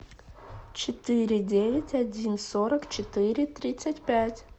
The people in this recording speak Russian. четыре девять один сорок четыре тридцать пять